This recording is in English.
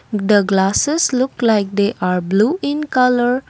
the glasses look like they are blue in colour.